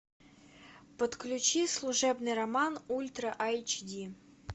подключи служебный роман ультра айч ди